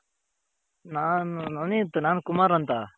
ನಾನು ನವನಿತ್ ನಾನು ಕುಮಾರ್ ಅಂತ .